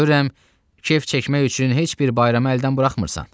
Görürəm, kef çəkmək üçün heç bir bayramı əldən buraxmırsan.